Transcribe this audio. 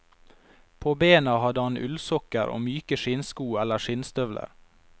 På bena hadde han ullsokker og myke skinnsko eller skinnstøvler.